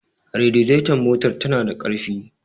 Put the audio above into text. raditon motar tana da ƙarfi